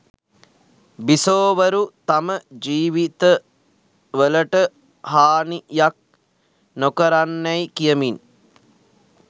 බිසෝවරු තම ජීවිතවලට හානියක් නොකරන්නැයි කියමින්